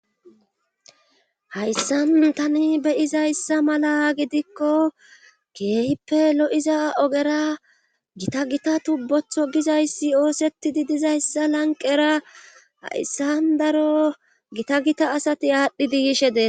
hayssan tani be'izayssa mala gidikko keehippe lo7iza ogera gita gita tubbotho gizayssi oosettidi dizayssa lanqera hayssandaro gita gita asati aadhdhi diyishe deetes